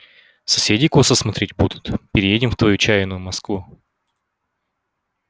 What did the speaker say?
соседи косо смотреть будут переедем в твою чаянную москву